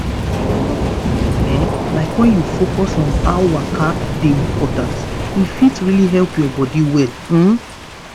small-small step ehm like when you focus on how waka dey important e fit really help your body well. um